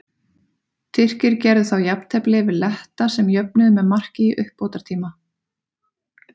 Tyrkir gerðu þá jafntefli við Letta sem jöfnuðu með marki í uppbótartíma.